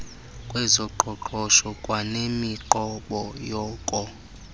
kwezoqoqosho kwanemiqobo yoko